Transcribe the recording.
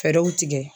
Fɛɛrɛw tigɛ